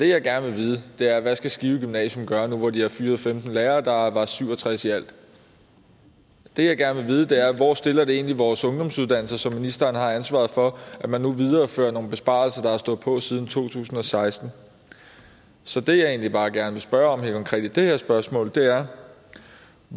jeg gerne vil vide er hvad skal skive gymnasium gøre nu hvor de har fyret femten lærere der var syv og tres i alt det jeg gerne vil vide er hvor stiller det egentlig vores ungdomsuddannelser som ministeren har ansvaret for at man nu viderefører nogle besparelser der har stået på siden 2016 så det jeg egentlig bare gerne vil spørge om helt konkret i det her spørgsmål er